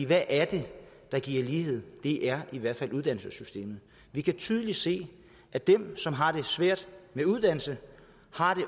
hvad er det der giver lighed det er i hvert fald uddannelsessystemet vi kan tydeligt se at dem som har det svært med uddannelse